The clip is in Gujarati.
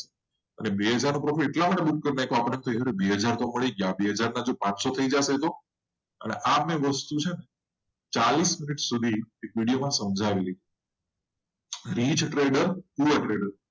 અને બે હજાર નો પ્લોટ એટલા માટે કે બે હજાર તો પડી ગયા એના પાનસો થઈ ગયા. તો અને આ બે વસ્તુ છે ને ચાલીસ મિનટ સુધી એક વિડિયો માં સાંઝવેલુ છે rich trader to trader